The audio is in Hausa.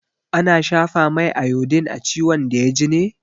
Ana shafa mai iodine a ciwon da ya ji ne?